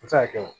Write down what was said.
A bɛ se ka kɛ